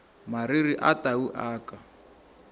mariri a tau a ka